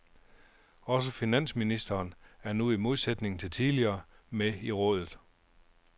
Også finansministeren er nu i modsætning til tidligere med i rådet.